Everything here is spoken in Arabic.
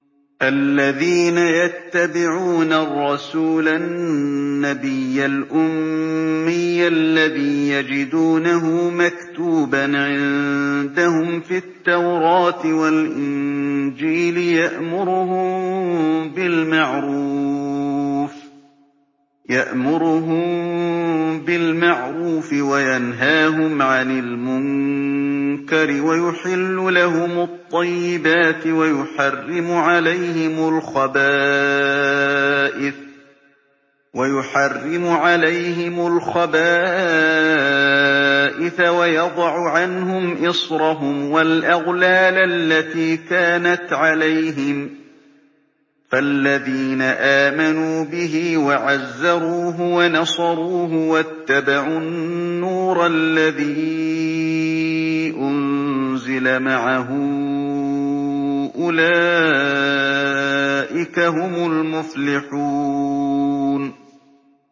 الَّذِينَ يَتَّبِعُونَ الرَّسُولَ النَّبِيَّ الْأُمِّيَّ الَّذِي يَجِدُونَهُ مَكْتُوبًا عِندَهُمْ فِي التَّوْرَاةِ وَالْإِنجِيلِ يَأْمُرُهُم بِالْمَعْرُوفِ وَيَنْهَاهُمْ عَنِ الْمُنكَرِ وَيُحِلُّ لَهُمُ الطَّيِّبَاتِ وَيُحَرِّمُ عَلَيْهِمُ الْخَبَائِثَ وَيَضَعُ عَنْهُمْ إِصْرَهُمْ وَالْأَغْلَالَ الَّتِي كَانَتْ عَلَيْهِمْ ۚ فَالَّذِينَ آمَنُوا بِهِ وَعَزَّرُوهُ وَنَصَرُوهُ وَاتَّبَعُوا النُّورَ الَّذِي أُنزِلَ مَعَهُ ۙ أُولَٰئِكَ هُمُ الْمُفْلِحُونَ